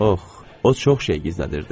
Ox, o çox şey gizlədirdi.